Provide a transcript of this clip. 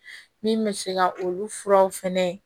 Min bɛ se ka olu furaw fɛnɛ